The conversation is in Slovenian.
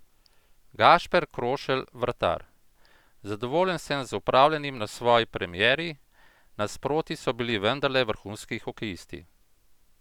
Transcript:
Gašper Krošelj, vratar: 'Zadovoljen sem z opravljenim na svoji premieri, nasproti so bili vendarle vrhunski hokejisti.